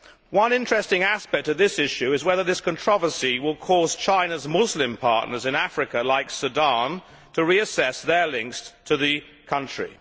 One interesting aspect of this issue is whether this controversy will cause China's Muslim partners in Africa like Sudan to reassess their links to the country.